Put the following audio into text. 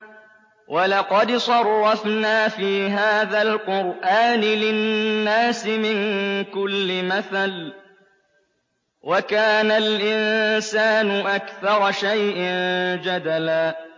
وَلَقَدْ صَرَّفْنَا فِي هَٰذَا الْقُرْآنِ لِلنَّاسِ مِن كُلِّ مَثَلٍ ۚ وَكَانَ الْإِنسَانُ أَكْثَرَ شَيْءٍ جَدَلًا